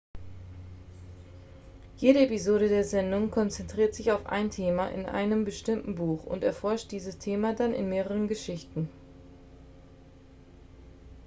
jede episode der sendung konzentriert sich auf ein thema in einem bestimmten buch und erforscht dieses thema dann in mehreren geschichten